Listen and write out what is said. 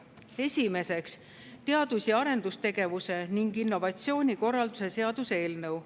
Esiteks, teadus‑ ja arendustegevuse ning innovatsiooni korralduse seaduse eelnõu.